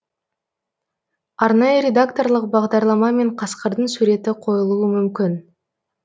арнайы редакторлық бағдарламамен қасқырдың суреті қойылуы мүмкін